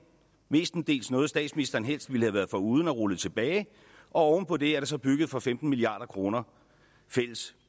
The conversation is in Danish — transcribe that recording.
mestendels noget statsministeren helst ville have været foruden og rullet tilbage og oven på det er der så bygget for femten milliard kroner fælles